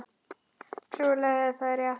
Trúlega er það rétt.